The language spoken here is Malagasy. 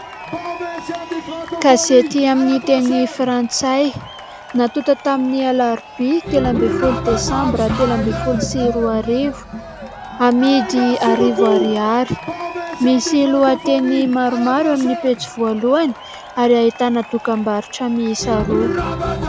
Gazety amin'ny teny frantsay, natonta tamin'ny alarobia telo ambin'ny folo desambra telo ambin’ny folo sy roa arivo, amidy arivo ariary. Misy lohateny maromaro amin'ny pejy voalohany ary ahitana dokambarotra miisa roa.